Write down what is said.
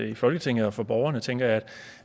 i folketinget og for borgerne tænker jeg